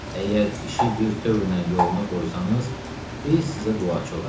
Əgər işi birtövrnən yoluna qoysanız, biz sizə duaçı olarıq.